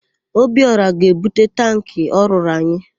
Obiọra ga-ebute tankị ọ rụrụ anyị.